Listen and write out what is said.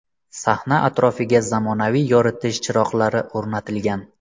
Sahna atrofiga zamonaviy yoritish chiroqlari o‘rnatilgan.